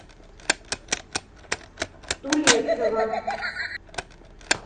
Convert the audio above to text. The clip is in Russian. тулесова